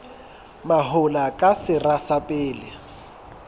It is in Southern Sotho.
mahola ke sera sa pele